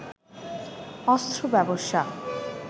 অস্ত্র ব্যবসা